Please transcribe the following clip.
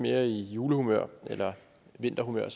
mere i julehumør eller vinterhumør